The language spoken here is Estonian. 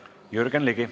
Jürgen Ligi.